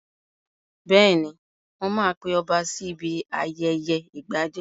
Bẹ́ẹ̀ni, mo ma pe ọba sí ibi ayẹyẹ ìgbadé